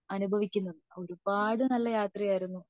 അനുഭവിക്കുന്നത് ഒരുപാട് നല്ല യാത്ര ആയിരുന്നു